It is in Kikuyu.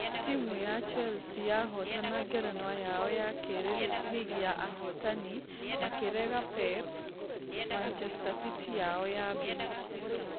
Timũ ya chelsea yahotana ngerenwa yao yakĩrĩ rigi ya ahotani , makĩrega pep manchester city yao ya mbere.